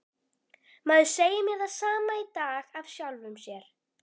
Maður segir mér það sama í dag af sjálfum sér.